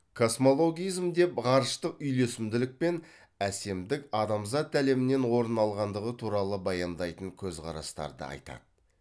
космологизм деп ғарыштық үйлесімділік пен әсемдік адамзат әлемінен орын алғандығы туралы баяндайтын көзқарастарды айтады